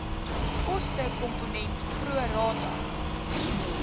kostekomponent pro rata